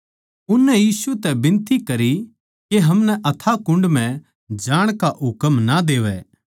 उननै यीशु बिनती करी के हमनै अथाह कुण्ड म्ह जाण का हुकम ना देवै